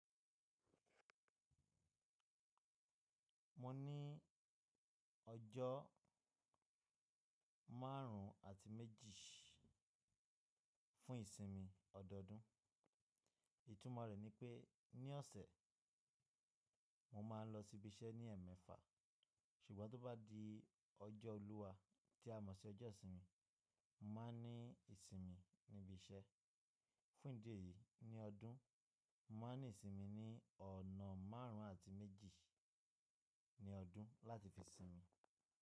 Mo ní ọjọ́ márùn-ún àti méjì fún ìsinmi ọdọọdún. Ìtúmọ̀ rẹ̀ ni pé ní ọ̀sẹ̀, mo máa ń lọ síbi iṣẹ́ ní ẹẹ̀mẹ́fà, ṣùgbọ́n tó bá di ọjọ́ olúwa tí a mọ̀ sí ọjọ́ ìsinmi, mo máa ní ìsinmi níbi iṣẹ́. Fún ìdí èyí, ní ọdún, mo máa ní ìsinmi ní ọ̀nà márùn-ún àti méjì ní ọdún láti fi sinmi.